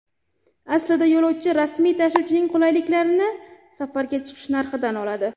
Aslida, yo‘lovchi rasmiy tashuvchining qulayliklarini safarga chiqish narxidan oladi.